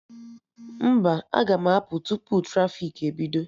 Mba, aga m apụ tupu trafiki ebido